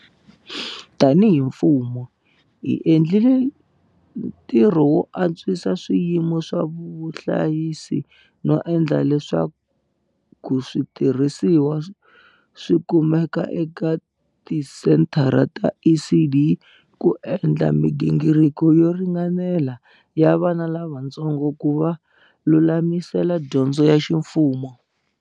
Tanihi mfumo, hi endli le ntirho wo antswisa swiyimo swo vuhlayisi no endla leswaku switi rhisiwa swi kumeka eka tisenthara ta ECD ku endla migingiriko yo ringanela ya vana lavatsongo ku va lulamisela dyondzo ya ximfumo.